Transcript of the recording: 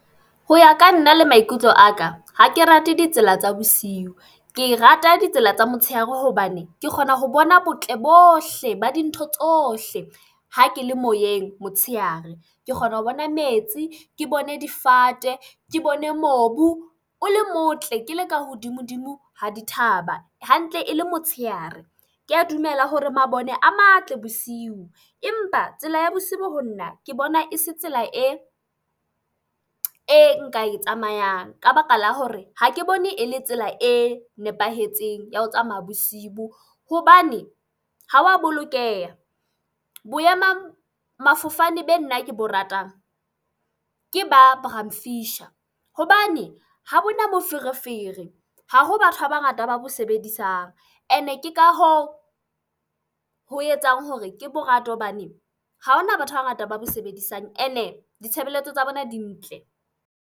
Ho ya ka nna le maikutlo a ka, ha ke rate ditsela tsa bosiu. Ke rata ditsela tsa motshehare hobane ke kgona ho bona botle bohle ba dintho tsohle ha ke le moyeng motshehare. Ke kgona ho bona metsi, ke bone difate, ke bone mobu o le motle ke leka hodimo-dimo ha di thaba. Hantle e le motshehare. Ke a dumela hore mabone a matle bosiu. Rmpa tsela ya bosibo ho nna ke bona e se tsela e e nka e tsamayang. Ka baka la hore ha ke bone e le tsela e nepahetseng ya ho tsamaya bosibu. Hobane ha wa bolokeha. Boema mafofane be nna ke bo ratang, ke ba Braamfisher. Hobane ha bona moferefere. Ha ho batho ba bangata ba bo sebedisang. E ne ke ka hoo ho etsang hore ke bo rate hobane ha hona batho ba bangata ba bo sebedisang. E ne ditshebeletso tsa bona di ntle.